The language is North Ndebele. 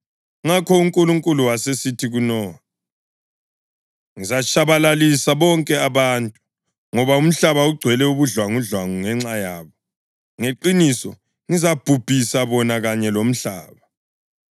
Ngakho uNkulunkulu wasesithi kuNowa, “Ngizabatshabalalisa bonke abantu, ngoba umhlaba ugcwele ubudlwangudlwangu ngenxa yabo. Ngeqiniso ngizababhubhisa bona kanye lomhlaba.